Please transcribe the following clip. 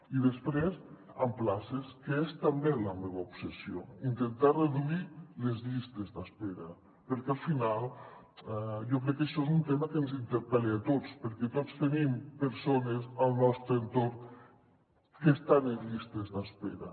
i després a places que és també la meva obsessió intentar reduir les llistes d’espera perquè al final jo crec que això és un tema que ens inter·pel·la a tots perquè tots tenim persones al nostre entorn que estan en llistes d’espera